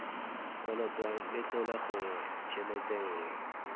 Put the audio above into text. kolotwang letlole gongwe tshelete nngwe